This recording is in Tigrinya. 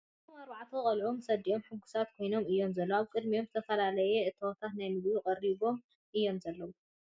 እዞም ኣርባዕተ ቖልዑት ምስ ኣዲኦም ሕጉሳት ኮይኖም እዮም ዘለዉ ፡ ኣብ ቕድሚኦም ዝተፈላሰየ እታዎታት ናይ ምግቢ ቐሪቦም እዮም ዘለዉ ።